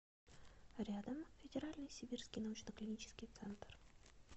рядом федеральный сибирский научно клинический центр